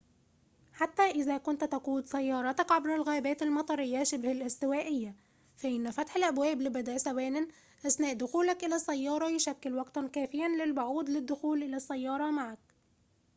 حتى إذا كنت تقود سيارتك عبر الغابات المطرية شبه الاستوائية فإن فتح الأبواب لبضع ثوانٍ أثناء دخولك إلى السيارة يشكل وقتاً كافياً للبعوض للدخول إلى السيارة معك